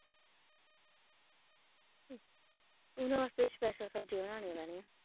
ਉਹਨਾ ਵਾਸਤੇ ਸ਼ਪੈਸਲ ਸ਼ਬਜੀਆ ਬਣਾਨੀਆ ਪੈਣੀਆਂ।